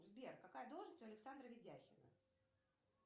сбер какая должность у александра ведяхина